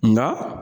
Nka